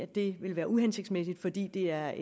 det ville være uhensigtsmæssigt fordi det er